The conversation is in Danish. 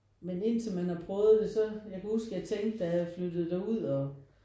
Men indtil man har prøvet det så jeg kan huske jeg tænkte da jeg flyttede derud og